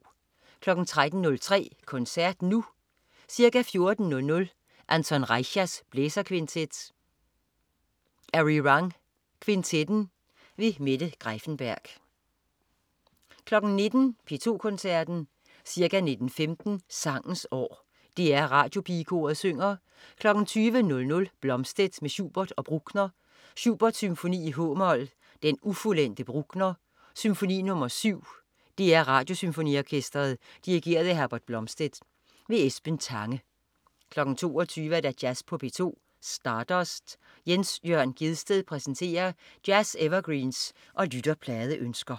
13.03 Koncert Nu. Ca. 14.00 Anton Reicha: Blæserkvintet. Arirang Kvintetten. Mette Greiffenberg 19.00 P2 Koncerten. Ca. 19.15 Sangens År. DR Radiopigekoret synger. 20.00 Blomstedt med Schubert og Bruckner. Schubert: Symfoni, h-mol, Den ufuldendte. Bruckner: Symfoni nr. 7. DR Radiosymfoniorkestret. Dirigent: Herbert Blomstedt. Esben Tange 22.00 Jazz på P2. Stardust. Jens Jørn Gjedsted præsenterer jazz-evergreens og lytterpladeønsker